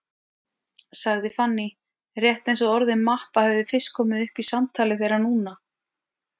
sagði Fanný, rétt eins og orðið mappa hefði fyrst komið upp í samtali þeirra núna.